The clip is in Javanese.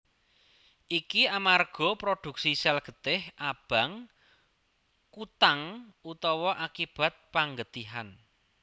Iki amarga prodhuksi sèl getih abang kutang utawa akibat panggetihan